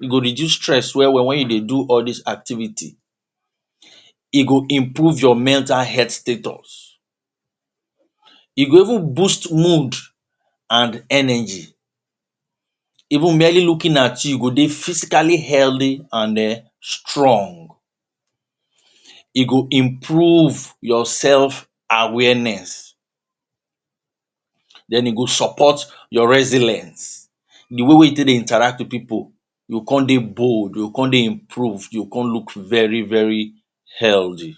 e go reduce stress well well wen you dey do all dis activities e go improve your mental health status, e go even boost mood and energy even merely looking at you go dey physically healthy and eeh strong, e go improve your self awareness, then e go support your resilience the way wey you take dey interact with people, you go come dey bold, you go come dey improved, you go come look very very healthy.